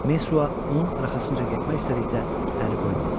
Messua onun arxasınca getmək istədikdə əri qoymadı.